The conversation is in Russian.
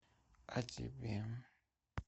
а тебе